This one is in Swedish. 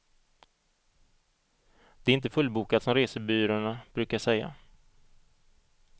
Det är inte fullbokat som resebyråerna brukar säga.